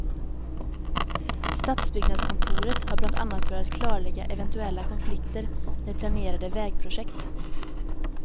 Stadsbyggnadskontoret har bland annat börjat klarlägga eventuella konflikter med planerade vägprojekt.